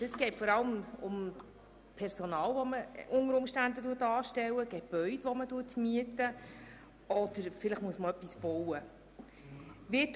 Dies gilt beispielweise für Personal, das man anstellen, Gebäude die man mieten oder auch, wenn man etwas bauen muss.